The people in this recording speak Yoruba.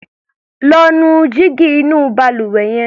Lọ́ nu jígí inú balùwẹ̀ yẹn.